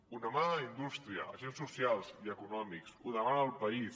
ho demana la indústria agents socials i econòmics ho demana el país